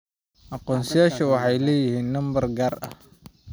Aqoonsiyadu waxay leeyihiin nambar gaar ah.